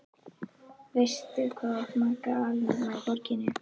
Veistu, hvað þú átt marga alnafna í borginni?